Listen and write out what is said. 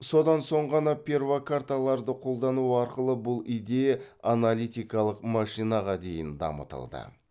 содан соң ғана перфокарталарды қолдану арқылы бұл идея аналитикалық машинаға дейін дамытылды